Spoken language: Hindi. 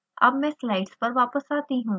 अब मैं स्लाइड्स पर वापस आती हूँ